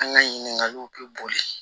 An ka ɲininkaliw bɛ boli